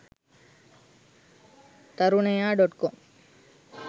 tarunaya dotcom